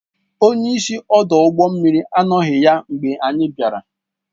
Onye isi ọdụ ụgbọ mmiri anọghị ya mgbe anyị bịara